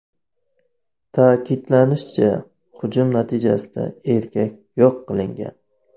Ta’kidlanishicha, hujum natijasida erkak yo‘q qilingan.